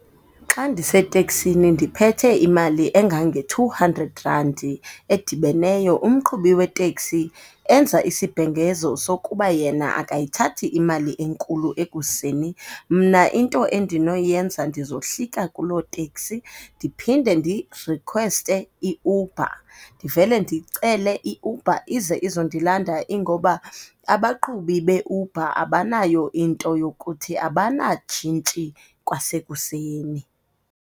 Xa ndiseteksini ndiphethe imali engange-two hundred randi edibeneyo, umqhubi weteksi enza isibhengezo sokuba yena akayithathi imali enkulu ekuseni. Mna into endinoyenza ndizohlika kuloo teksi ndiphinde ndirikhweste iUber, ndivele ndicele iUber ize izondilanda ingoba abaqhubi beUber abanayo into yokuthi abanatshintshi kwasekuseni.